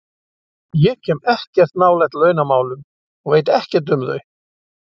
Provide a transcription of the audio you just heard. Ég kem ekkert nálægt launamálum og veit ekkert um þau.